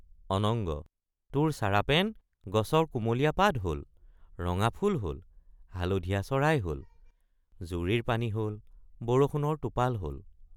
অনঙ্গ—তোৰ চাৰাপেন গছৰ কুমলীয়া পাত হল ৰঙাফুল হল হালধীয়া চৰাই হল জুৰিৰ পানী হল বৰষুণৰ টোপাল হল।